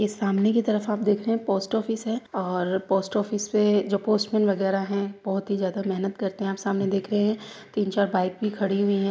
ये सामने की तरफ आप देख रहे हैं पोस्ट ऑफिस है और पोस्ट ऑफिस पे जो पोस्टमैन वगैरा हैं बोहोत ही ज्यादा मेहनत करते हैं आप सामने देख रहे हैं तीन चार बाइक भी खड़ी हुई हैं।